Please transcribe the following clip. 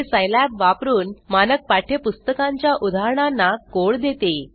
जे सिलाब वापरुन मानक पाठ्य पुस्तकांच्या उदाहरणांना कोड देते